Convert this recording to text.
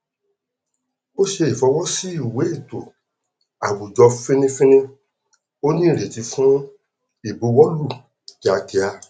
ó ṣe ìfọwọ sí ìwé ètò àwùjọ fínnífínní ó ní ìrètí fún ìbuwọlù kíákíá